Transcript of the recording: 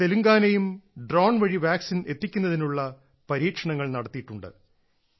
തെലങ്കാനയും drone വഴി vaccine എത്തിക്കുന്നതിനുള്ള പരീക്ഷണങ്ങൾ നടത്തിയിട്ടുണ്ട്